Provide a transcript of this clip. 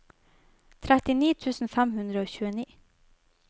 trettini tusen fem hundre og tjueni